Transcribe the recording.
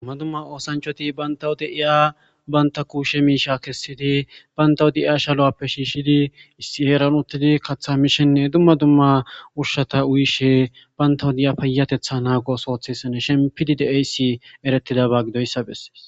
Dumma dumma oosanchchathi banththawu de7iya banththa kuushe miishshaa kessidi banththawu de7iya shaluwaappe shiishshidi issi heeren uththidi kaththaa mishinne dumma dumma ushshatha uyishee banththawu diya payyatheththaa naaguwa ooso ooththisanishin pidi de7essi ereththidabaa gido7issa bessees.